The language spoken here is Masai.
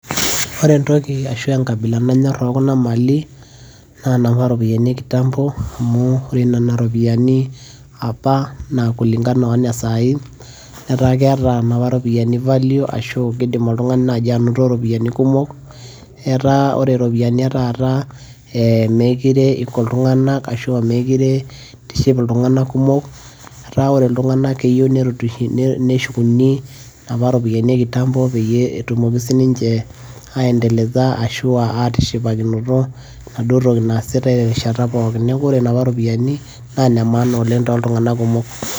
ore entoki ashu aa enkabila ekuna mali naa inapa ropiyiani ekitambo, naa ore nena ropiyiani kulingana one sai. netaa keeta nena ropiyiani value ashu kidim oltungani naaji anoto ropiyiani kumok. etaa ore ropiyiani etaata emeekure eiko iltunganak ashu aa meekure itiship iltungank kumok. etaa ore iltunganak keyieu neshukuni apa ropiyiai e kitambo peyie etumoki sii ninche aendeleza ashu aatishipakinpto enaduo toki naasitae terishata pookin. neeku ore napa ropiyiani naa ine maana ole tooltunganak kumok.